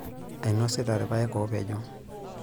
Ainosita ilpayek oopejo.